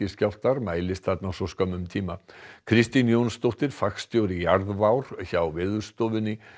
skjálftar mælist þar á svo skömmum tíma Kristín Jónsdóttir fagstjóri hjá Veðurstofunni